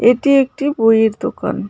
এটি একটি বইয়ের দোকান .